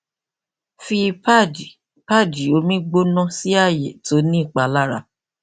fi pad pad omi gbona si aaye ti o ni ipalara